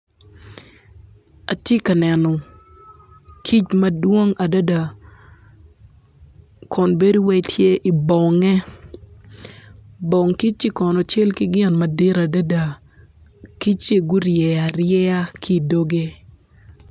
Atye ka neno kic madwong adada kun bedo wai tye i bonge, bong kicci kono cal ki gin madit adada kicci gurye arye ki doge.